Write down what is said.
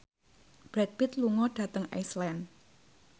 Brad Pitt lunga dhateng Iceland